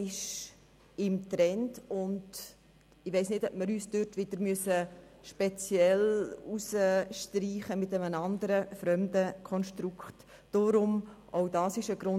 Ich erachte es als falsch, wenn der Kanton Bern diesbezüglich mit einem andern Konstrukt wieder einen Sonderzug fährt.